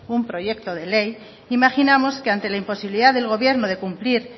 un proyecto de ley imaginamos que ante la imposibilidad del gobierno de cumplir